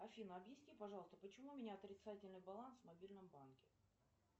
афина объясни пожалуйста почему у меня отрицательный баланс в мобильном банке